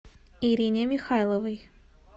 ирине михайловой